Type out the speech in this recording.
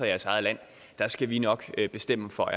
jeres eget land der skal vi nok bestemme for